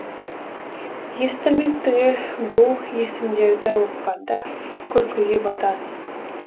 естілмек түгел бұл есімдерді оқығанда күлкіге батасыз